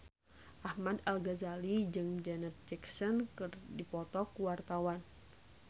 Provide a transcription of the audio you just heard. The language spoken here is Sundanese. Ahmad Al-Ghazali jeung Janet Jackson keur dipoto ku wartawan